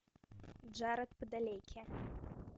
джаред падалеки